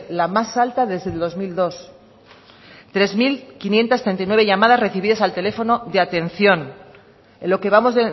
la más alta desde el dos mil dos tres mil quinientos treinta y nueve llamadas recibidas al teléfono de atención en lo que vamos